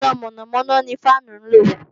Iná mọ̀nàmọ̀nà ni fáànù ń lò